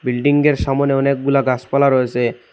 বিল্ডিংয়ের সামোনে অনেকগুলা গাসপালা রয়েসে।